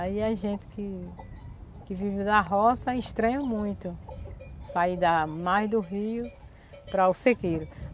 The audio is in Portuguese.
Aí a gente que que vive da roça estranha muito sair da mais do rio para o cerqueiro.